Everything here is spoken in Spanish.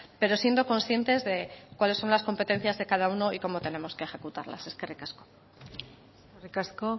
pero siendo conscientes de cuáles son las competencias de cada uno y cómo tenemos que ejecutarlas eskerrik asko eskerrik asko